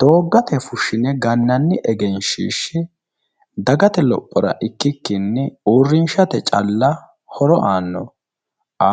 Dooggate fushine gannanni egenshiishshi dagate lophora ikkikkini uurrinshate caalla A,